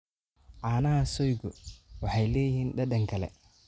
Caanaha soygu waxay leeyihiin dhadhan kale.